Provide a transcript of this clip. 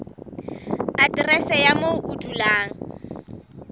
aterese ya moo o dulang